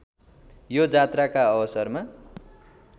यो जात्राका अवसरमा